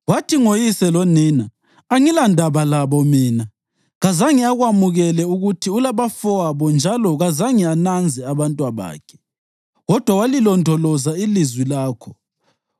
Wathi ngoyise lonina, ‘Angilandaba labo mina.’ Kazange akwamukele ukuthi ulabafowabo njalo kazange ananze abantwabakhe, kodwa walilondoloza ilizwi lakho wasigcina isivumelwano sakho.